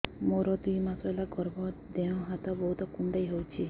ମୋର ଦୁଇ ମାସ ହେଲା ଗର୍ଭ ଦେହ ହାତ ବହୁତ କୁଣ୍ଡାଇ ହଉଚି